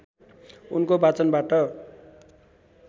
उनको वाचनबाट